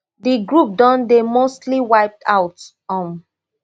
di group don dey mostly wiped out um